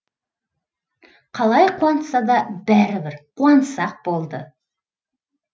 қалай қуантса да бәрібір қуансақ болды